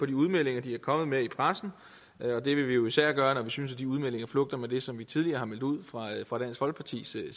de udmeldinger de er kommet med i pressen det vil vi især gøre når vi synes at de udmeldinger flugter med det som vi tidligere har meldt ud fra dansk folkepartis side